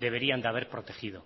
deberían de haber protegido